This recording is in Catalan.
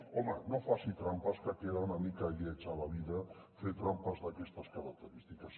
home no faci trampes que queda una mica lleig a la vida fer trampes d’aquestes característiques